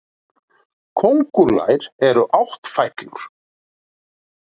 Kóngulær eru áttfætlur.